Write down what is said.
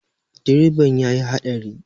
Direban ya yi haɗari.